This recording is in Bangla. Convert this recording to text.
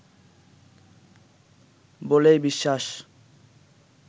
বলেই বিশ্বাস